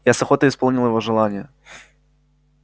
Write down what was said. я с охотой исполнил его желание